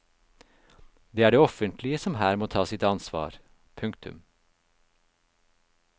Det er det offentlige som her må ta sitt ansvar. punktum